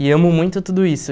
E amo muito tudo isso.